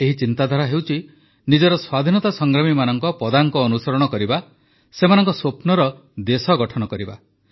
ଏହି ଚିନ୍ତାଧାରା ହେଉଛି ନିଜର ସ୍ୱାଧୀନତା ସଂଗ୍ରାମୀମାନଙ୍କ ପଦାଙ୍କ ଅନୁସରଣ କରିବା ସେମାନଙ୍କ ସ୍ୱପ୍ନର ଦେଶ ଗଢ଼ିବା